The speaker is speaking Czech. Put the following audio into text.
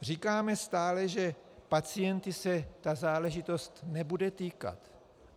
Říkáme stále, že pacientů se ta záležitost nebude týkat.